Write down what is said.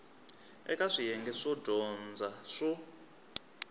eka swiyenge swo dyondza swo